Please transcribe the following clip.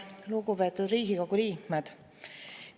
Lugupeetud Riigikogu liikmed!